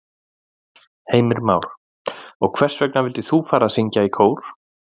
Heimir Már: Og hvers vegna vildir þú fara að syngja í kór?